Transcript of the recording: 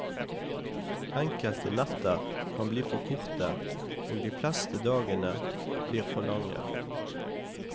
Enkelte netter kan bli for korte, og de fleste dagene blir for lange.